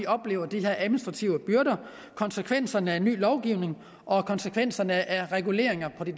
oplever de administrative byrder konsekvenserne af ny lovgivning og konsekvenserne af reguleringer på det